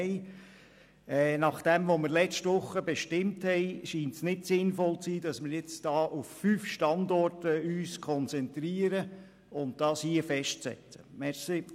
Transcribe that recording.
Nachdem, was wir letzte Woche bestimmt haben, erscheint es nicht sinnvoll, dass wir uns auf fünf Standorte konzentrieren und diese hier festlegen.